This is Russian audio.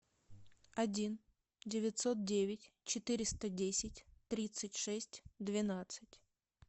один девятьсот девять четыреста десять тридцать шесть двенадцать